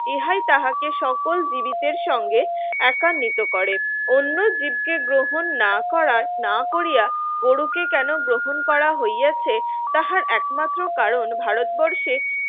ইহাই তাহাকে সকল জীবিতের সঙ্গে একা মৃত করে অন্য জীবকে গ্রহণ না করার না করিয়া গরুকে কেন গ্রহণ করা হয়েছে তাহার একমাত্র কারণ ভারতবর্ষে